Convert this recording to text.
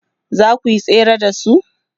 zakuyi tsere da su?